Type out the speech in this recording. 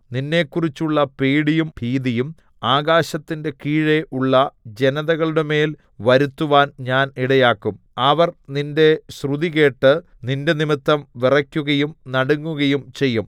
നിന്നെക്കുറിച്ചുള്ള പേടിയും ഭീതിയും ആകാശത്തിന്റെ കീഴെ ഉള്ള ജനതകളുടെമേൽ വരുത്തുവാൻ ഞാൻ ഇടയാക്കും അവർ നിന്റെ ശ്രുതി കേട്ട് നിന്റെനിമിത്തം വിറയ്ക്കുകയും നടുങ്ങുകയും ചെയ്യും